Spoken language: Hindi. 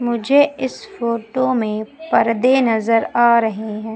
मुझे इस फोटो में पर्दे नजर आ रहे हैं।